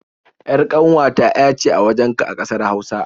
ƴar ƙanwata ƴa ce a wajenka a ƙasar Hausa